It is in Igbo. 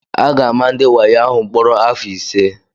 A ga-ama ndị wayo ahụ mkpọrọ afọ ise.